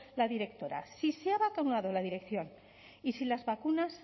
la directora si se ha vacunado la dirección y si las vacunas